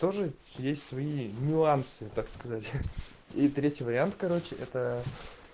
тоже есть свои нюансы так сказать и третий вариант короче это